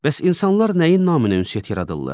Bəs insanlar nəyin naminə ünsiyyət yaradırlar?